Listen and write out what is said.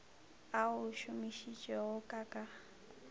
a o šomišitšego ka ka